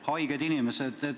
Haiged inimesed ...